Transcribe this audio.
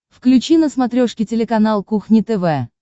включи на смотрешке телеканал кухня тв